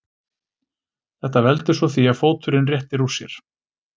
Þetta veldur svo því að fóturinn réttir úr sér.